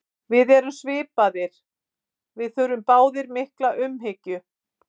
Við erum svipaðir, við þurfum báðir mikla umhyggju.